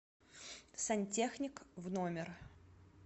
сантехник в номер